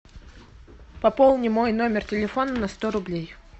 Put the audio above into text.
пополни мой номер телефона на сто рублей